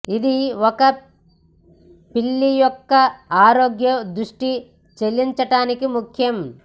ఇది ఒక పిల్లి యొక్క ఆరోగ్య దృష్టి చెల్లించటానికి ముఖ్యం